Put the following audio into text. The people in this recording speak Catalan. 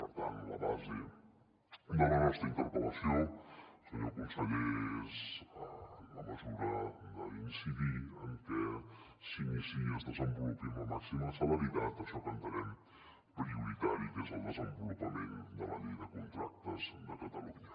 per tant la base de la nostra interpel·lació senyor conseller és en la mesura d’incidir en que s’iniciï i es desenvolupi amb la màxima celeritat això que entenem prioritari que és el desenvolupament de la llei de contractes de catalunya